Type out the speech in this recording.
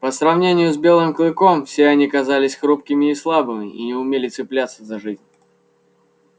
по сравнению с белым клыком все они казались хрупкими и слабыми и не умели цепляться за жизнь